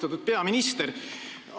Austatud peaminister!